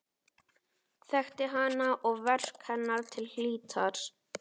Þekkti hana og verk hennar til hlítar.